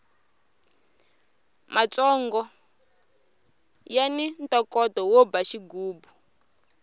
matsongo yani ntokoto wo ba xigubu